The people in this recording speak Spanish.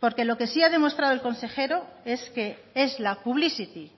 porque lo que sí ha demostrado el consejero es que es la publicity